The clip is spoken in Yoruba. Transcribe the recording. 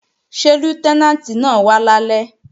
Ṣé Lútẹ́nàǹtì náà wá lálẹ́?